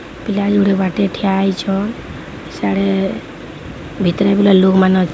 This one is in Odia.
ଦାଣ୍ଡରେ ବାଟେ ଠିଆ ହେଇଚ ସେଇଆଡ଼େ ଭିତରେ ଲୋକମାନେ ଅ --